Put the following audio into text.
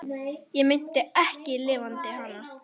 Ég meinti ekki LIFANDI HANA.